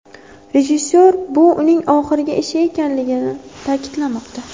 Rejissor bu uning oxirgi ishi ekanligini ta’kidlamoqda.